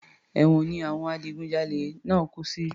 Èwọ̀n ni àwọn adigun jalè náà kú sí